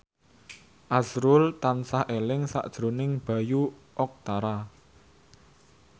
azrul tansah eling sakjroning Bayu Octara